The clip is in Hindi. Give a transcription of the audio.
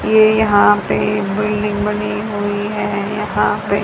ये यहां पे बिल्डिंग बनी हुईं है यहां पे--